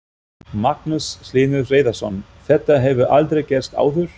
Magnús Hlynur Hreiðarsson: Þetta hefur aldrei gerst áður?